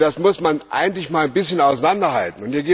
Und das muss man eigentlich ein bisschen auseinanderhalten.